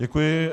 Děkuji.